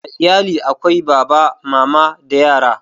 A iyali akwai Baba, Mama da yara